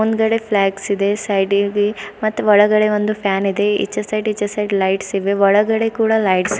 ಹಿಂದಗಡೆ ಫ್ಲಾಗ್ಸ್ ಇದೆ ಸೈಡಿ ಗೆ ಮತ್ ಒಳಗಡೆ ಒಂದು ಫ್ಯಾನ್ ಇದೆ ಈಚೆ ಸೈಡ್ ಈಚೆ ಸೈಡ್ ಲೈಟ್ಸ್ ಇವೆ ಒಳಗಡೆ ಕೂಡ ಲೈಟ್ಸ್ --